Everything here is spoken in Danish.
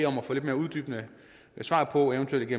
få uddybende svar på eventuelt